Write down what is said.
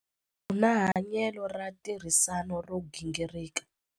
U na hanyelo ra ntirhisano ro gingirika.